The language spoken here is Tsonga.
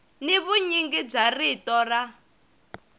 ni vunyingi bya rito ra